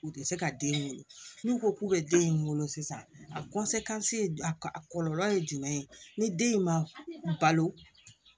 U tɛ se ka den in wolo n'u ko k'u bɛ den in wolo sisan a a kɔlɔlɔ ye jumɛn ye ni den in ma balo